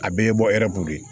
A bɛɛ ye bɔ ɛriw de ye